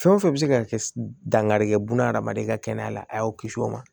Fɛn o fɛn bɛ se ka kɛ dankari kɛ buna adamaden ka kɛnɛya la a y'o kisi o ma